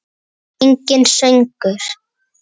Enginn söngur.